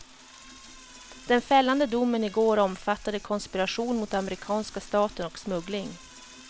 Den fällande domen i går omfattade konspiration mot amerikanska staten och smuggling.